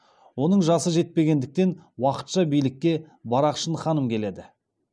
оның жасы жетпегендіктен уақытша билікке барақшын ханым келеді